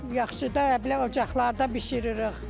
Yaxşı da belə ocaqlarda bişiririk.